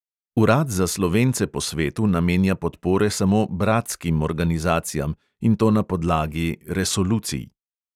Urad za slovence po svetu namenja podpore samo "bratskim" organizacijam, in to na podlagi … resolucij.